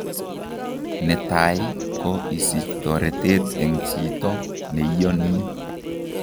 Netaai ko isich toretet eng' chiito neiyonii